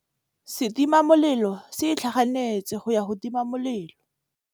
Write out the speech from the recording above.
Setima molelô se itlhaganêtse go ya go tima molelô.